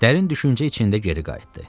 Dərin düşüncə içində geri qayıtdı.